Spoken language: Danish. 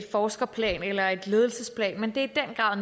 forskerplan eller et ledelsesplan men det er